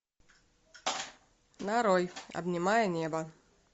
нарой обнимая небо